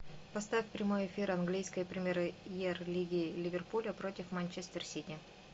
поставь прямой эфир английской премьер лиги ливерпуля против манчестер сити